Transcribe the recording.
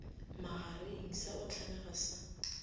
magareng sa go hlamega sa